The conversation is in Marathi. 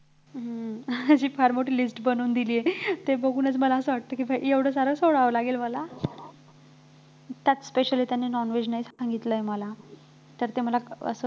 हम्म फार मोठी list बनवून दिली आहे, ते बघूनच मला असं वाटतंय कि एवढं सारं सोडावं लागेल मला त्यात specially त्यांनी non-veg नाही सांगितलंय मला तर ते मला असं